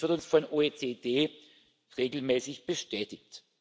Dies wird uns von der OECD regelmäßig bestätigt.